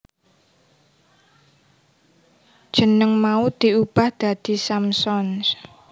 Jeneng mau diubah dadi Samsons